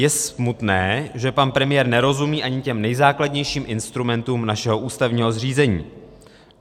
Je smutné, že pan premiér nerozumí ani těm nejzákladnějším instrumentům našeho ústavního zřízení.